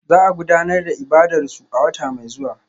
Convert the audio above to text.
Za a gudanar da ibadarsu a wata mai zuwa